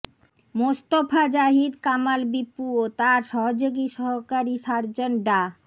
মোস্তফা জাহিদ কামাল বিপু ও তার সহযোগী সহকারী সার্জন ডা